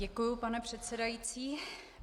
Děkuji, pane předsedající.